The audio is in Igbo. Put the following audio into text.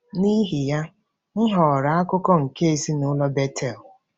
N’ihi ya, m ghọrọ akụkụ nke ezinụlọ Betel.